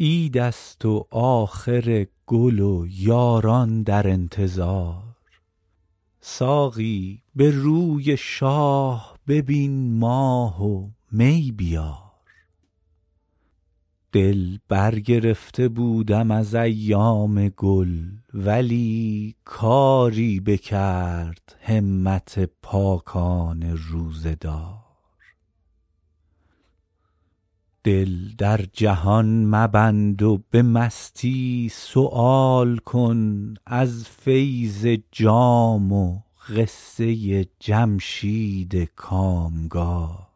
عید است و آخر گل و یاران در انتظار ساقی به روی شاه ببین ماه و می بیار دل برگرفته بودم از ایام گل ولی کاری بکرد همت پاکان روزه دار دل در جهان مبند و به مستی سؤال کن از فیض جام و قصه جمشید کامگار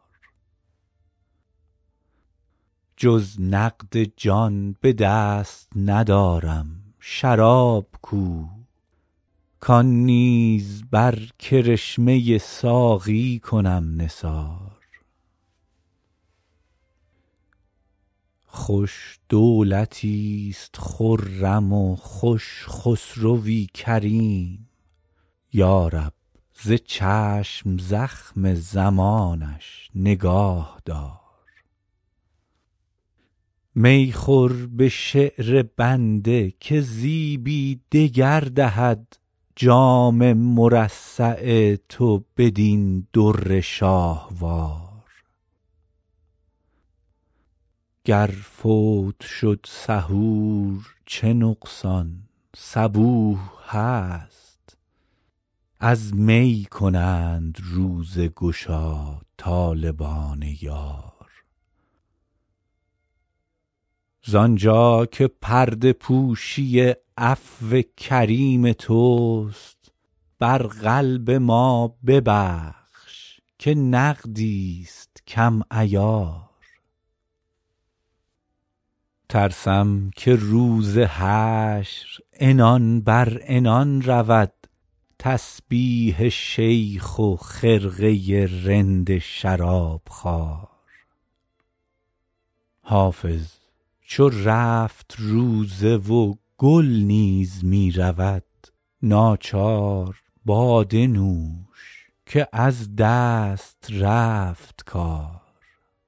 جز نقد جان به دست ندارم شراب کو کان نیز بر کرشمه ساقی کنم نثار خوش دولتیست خرم و خوش خسروی کریم یا رب ز چشم زخم زمانش نگاه دار می خور به شعر بنده که زیبی دگر دهد جام مرصع تو بدین در شاهوار گر فوت شد سحور چه نقصان صبوح هست از می کنند روزه گشا طالبان یار زانجا که پرده پوشی عفو کریم توست بر قلب ما ببخش که نقدیست کم عیار ترسم که روز حشر عنان بر عنان رود تسبیح شیخ و خرقه رند شرابخوار حافظ چو رفت روزه و گل نیز می رود ناچار باده نوش که از دست رفت کار